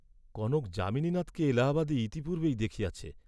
কনক যামিনীনাথকে এলাহাবাদে ইতিপূর্ব্বেই দেখিয়াছে।